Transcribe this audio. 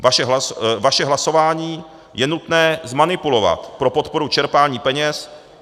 Vaše hlasování je nutné zmanipulovat pro podporu čerpání peněz.